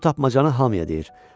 O bu tapmacanı hamıya deyir.